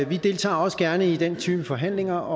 vi deltager også gerne i den type forhandlinger